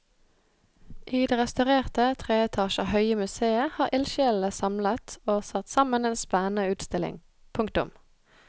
I det restaurerte tre etasjer høye museet har ildsjelene samlet og satt sammen en spennende utstilling. punktum